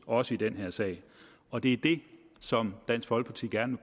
også i den her sag og det er det som dansk folkeparti gerne